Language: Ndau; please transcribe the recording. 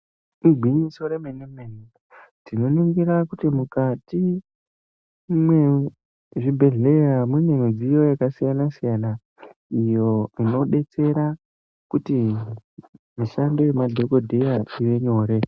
Igwinyiso remene mene ,tinoringira kuti mukati mezvibhehlera mune mudziyo yakasiyana siyana inobetsera kuti basa remadhogodheya rive nyore.